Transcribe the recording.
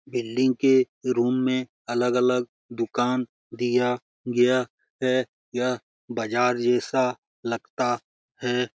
Building के room में अलग-अलग दुकान दिया गया है। यह बाजार जैसा लगता है।